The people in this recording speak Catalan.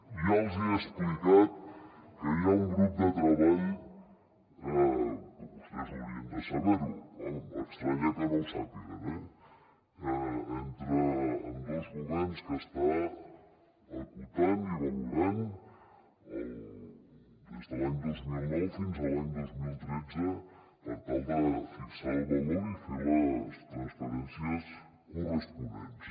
ja els hi he explicat que hi ha un grup de treball que vostès haurien de saber ho m’estranya que no ho sàpiguen entre ambdós governs que està acotant i valorant des de l’any dos mil nou fins a l’any dos mil tretze per tal de fixar el valor i fer les transferències corresponents